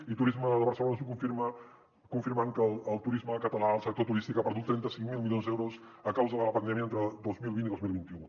i turisme de barcelona ens ho confirma confirmant que el turisme català el sector turístic ha perdut trenta cinc mil milions d’euros a causa de la pandèmia entre dos mil vint i dos mil vint u